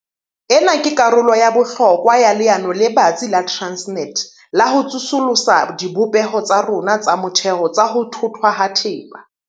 Ena ke karolo ya bohlokwa ya leano le batsi la Transnet la ho tsosolosa dibopeho tsa rona tsa motheo tsa ho thothwa ha thepa.